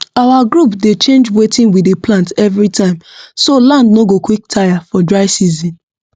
our group dey change wetin we dey plant everytime so land no go quick tire for dry season